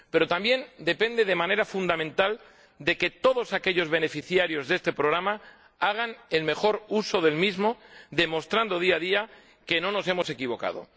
Pero también depende de manera fundamental de que todos aquellos beneficiarios de este programa hagan el mejor uso del mismo, demostrando día a día que no nos hemos equivocado.